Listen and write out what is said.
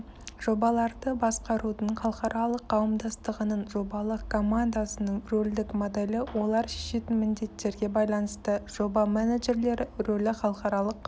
жобаларды басқарудың халықаралық қауымдастығының жобалық командасының рөлдік моделі олар шешетін міндеттерге байланысты жоба менеджерлері рөлі халықаралық